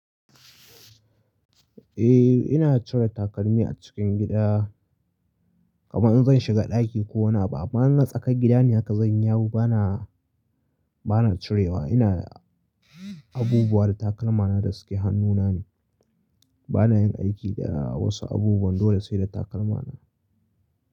Eh ina cire takalmi a cikin gida, kamar in zan shiga ɗaki ko wani abu amma in tsakar gida ne haka zan yi yawo bana, bana cirewa. Ina abubuwa da takalmana da suke hannuna ne, bana yin aiki da wasu abubuwan dole sai da takalmana.